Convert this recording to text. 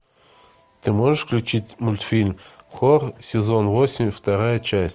ты можешь включить мультфильм хор сезон восемь вторая часть